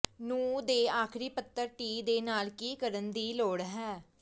ਨੂੰ ਦੇ ਆਖਰੀ ਪੱਤਰ ਟੀ ਦੇ ਨਾਲ ਕੀ ਕਰਨ ਦੀ ਲੋੜ ਹੈ